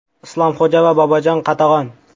Islomxo‘ja va Bobojon Qatag‘on.